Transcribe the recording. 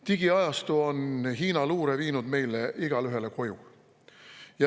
Digiajastu on Hiina luure viinud meile igaühele koju.